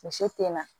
Muso te na